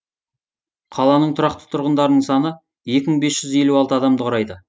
қаланың тұрақты тұрғындарының саны екі мың бес жүз елу алты адамды құрайды